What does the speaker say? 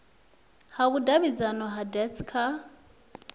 ha vhudavhidzano ha dacst kha